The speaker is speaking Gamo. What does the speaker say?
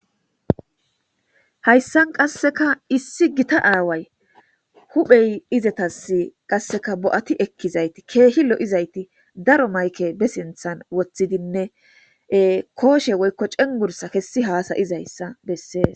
Hayssan qasseka issi gita aaway huphey izetas qasseka bo7ati ekkizayti keehi lo7izayti daro mayke besinthan woththidinne kooshe woykko cengursa kessi haasayizayssa bessees.